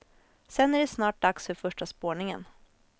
Sen är det snart dags för första spårningen.